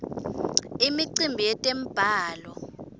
imicimbi yetemblalo